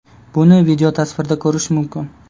Buni videotasvirda ko‘rish mumkin.